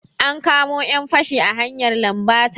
An kamo 'yan fashi a hanyar lambata.